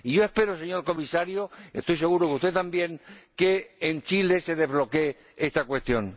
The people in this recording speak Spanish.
Y yo espero, señor Comisario, estoy seguro de que usted también, que en Chile se desbloquee esta cuestión.